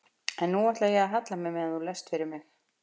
En nú ætla ég að halla mér meðan þú lest fyrir mig.